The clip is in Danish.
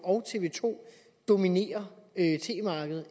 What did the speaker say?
og tv to dominerer tv markedet